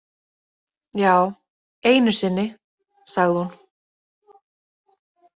Já, einu sinni, sagði hún.